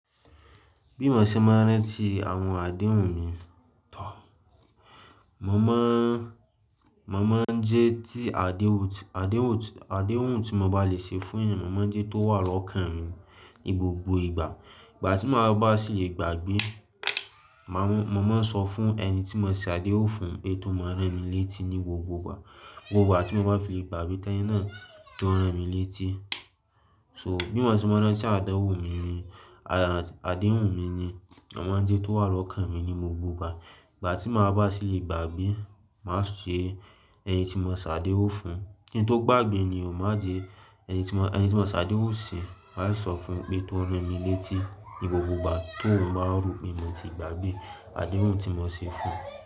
Bí mo ṣe máa ń rántí àwọn àdéhùn mi, tọ, mo máa ń jẹ́ tí àdéhùn tí àdéhùn tí mo bá lè ṣe fún ènìyàn, mo máa ń jẹ́ tó wà lọ́kàn mi ní gbogbo ìgbà. Ìgbà tí mo bá sì lè gbàgbé, maa n mo máa ń sọ fún ẹni tí mo ṣe àdéhùn fún pé tó máa ń ràn mí létí ní gbogbo ìgbà. Gbogbo ìgbà tí mo bá fi lè gbàgbé, tẹ́ eni náà tó ràn mí létí. So bí mo ṣe máa ń lọ s'àdéhùn mi ni a àdéhùn mi ni mo máa ń jẹ́ tó wà lọ́kàn mi ní gbogbo ìgbà. Ìgbà tí mo a bá sì lè gbàgbé, màá ṣe ẹni tí mo ṣe àdéhùn fún. Kintó gbàgbé ni o má jẹ ẹni tí ma, ẹni tí ma ṣe àdéhùn sí, màá sọ fún pé tó ń ràn mí létí ní gbogbo ìgbà tó oun máa ro pe mo tí gbàgbé àdéhùn tí mo ṣe fún.